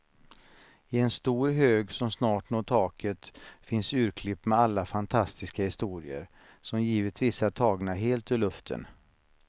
I en stor hög som snart når taket finns urklipp med alla fantastiska historier, som givetvis är tagna helt ur luften.